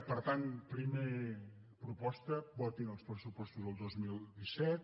per tant primera proposta votin els pressupostos del dos mil disset